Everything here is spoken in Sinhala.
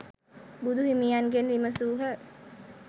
බුදුහිමියන්ගෙන් විමසූහ.